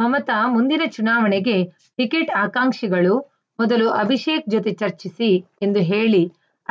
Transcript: ಮಮತಾ ಮುಂದಿನ ಚುನಾವಣೆಗೆ ಟಿಕೆಟ್‌ ಆಕಾಂಕ್ಷಿಗಳು ಮೊದಲು ಅಭಿಷೇಕ್‌ ಜೊತೆ ಚರ್ಚಿಸಿ ಎಂದು ಹೇಳಿ